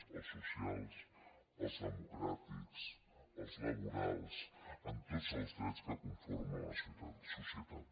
els socials els democràtics els laborals amb tots els drets que conforma la societat